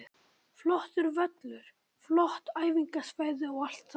Flottur völlur, flott æfingasvæði og allt það.